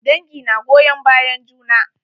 Dangi na goyon bayan juna.